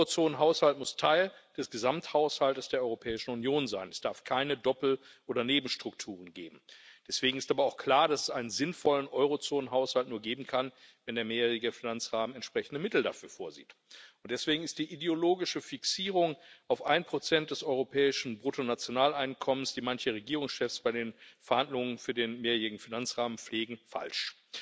Ein Eurozonenhaushalt muss Teil des Gesamthaushalts der Europäischen Union sein, es darf keine Doppel oder Nebenstrukturen geben. Deswegen ist aber auch klar, dass es einen sinnvollen Eurozonenhaushalt nur geben kann, wenn der mehrjährige Finanzrahmen entsprechende Mittel dafür vorsieht. Deswegen ist die ideologische Fixierung auf 1 des europäischen Bruttonationaleinkommens mancher Regierungschefs bei den Verhandlungen für den mehrjährigen Finanzrahmen falsch.